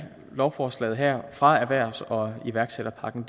lovforslaget her fra erhvervs og iværksætterpakken